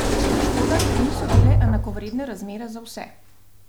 Špik: "Škoda, ker niso bile enakovredne razmere za vse.